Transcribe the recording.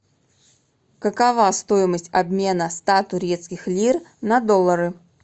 какова стоимость обмена ста турецких лир на доллары